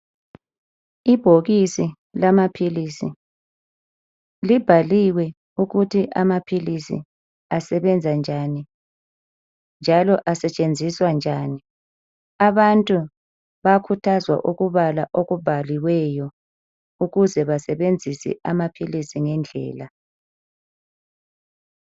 Ibhokisi lamaphilisi libhaliwe ukuthi amaphilisi asebenza njani njalo asetshenziswa njani abantu bayakhuthazwa ukubala okubhaliweyo ukuze basebenzisa amaphilisi ngendlela